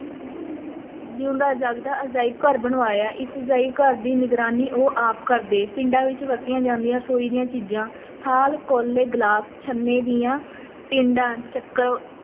ਜਿਊਂਦਾ-ਜਾਗਦਾ ਅਜਾਇਬ-ਘਰ ਬਣਵਾਇਆ, ਇਸ ਅਜਾਇਬ ਘਰ ਦੀ ਨਿਗਰਾਨੀ ਉਹ ਆਪ ਕਰਦੇ, ਪਿੰਡਾਂ ਵਿੱਚ ਵਰਤੀਆਂ ਜਾਂਦੀਆਂ ਰਸੋਈ ਦੀਆਂ ਚੀਜ਼ਾਂ, ਥਾਲ, ਕੌਲੇ, ਗਲਾਸ, ਛੰਨੇ ਦੀਆਂ ਟਿੰਡਾਂ